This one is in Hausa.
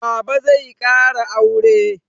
Baba zai ƙara aure.